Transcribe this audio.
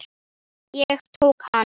Ég tók hana.